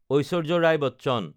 Aishwarya Rai Bachchan